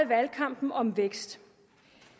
valgkampen om vækst